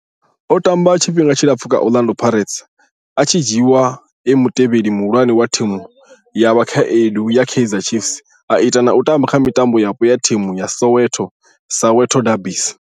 O tamba tshifhinga tshilapfhu kha Orlando Pirates, a tshi dzhiiwa e mutevheli muhulwane wa thimu ya vhakhaedu ya Kaizer Chiefs a ita na u tamba kha mitambo yapo ya thimu dza Soweto, Soweto derbies.